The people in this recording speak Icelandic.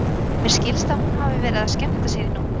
Mér skilst að hún hafi verið að skemmta sér í nótt.